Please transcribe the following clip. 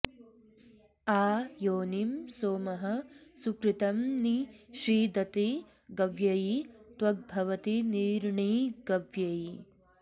आ योनिं॒ सोमः॒ सुकृ॑तं॒ नि षी॑दति ग॒व्ययी॒ त्वग्भ॑वति नि॒र्णिग॒व्ययी॑